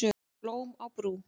Blóm á brú